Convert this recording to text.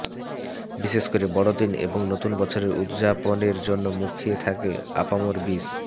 বিশেষ করে বড়দিন এবং নতুন বছরের উদযাপনের জন্য মুখিয়ে থাকে আপামর বিশ